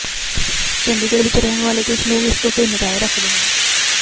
ਚੰਡੀਗੜ੍ਹ ਵਿਚ ਰਹਿਣ ਵਾਲੇ ਕੁਝ ਲੋਕ ਇਸ ਤੋਂ ਭਿੰਨ ਰਾਏ ਰੱਖਦੇ ਹਨ